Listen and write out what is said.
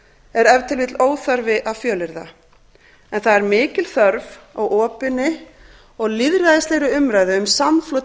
ef til vill óþarfi að fjölyrða en það er mikil þörf á opinni og lýðræðislegri umræðu um samflot